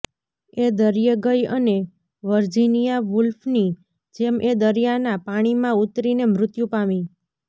એ દરિયે ગઈ અને વર્જિનિયા વૂલ્ફ્ની જેમ એ દરિયાના પાણીમાં ઊતરીને મૃત્યુ પામી